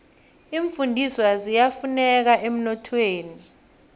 iimfundiswa ziyafuneka emnothweni